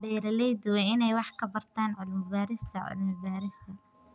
Beeraleydu waa inay wax ka bartaan cilmi-baarista cilmi-baarista.